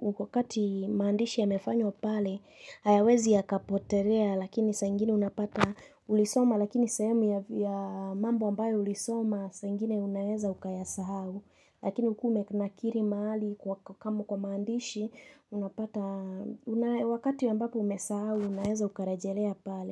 wakati maandishi yamefanywa pale hayawezi yakapotelea lakini saa ingine unapata ulisoma lakini sehemu ya mambo ambayo ulisoma saa ingine unaweza ukayasahau. Lakini ukiwa umenakili mahali kwa maandishi, unapata wakati ambapo umesahau, unaweza ukarejelea pale.